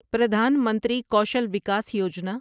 Pradhan Mantri Kaushal Vikas Yojana